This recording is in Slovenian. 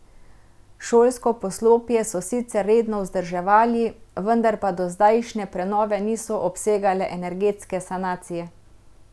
Šolsko poslopje so sicer redno vzdrževali, vendar pa dozdajšnje prenove niso obsegale energetske sanacije.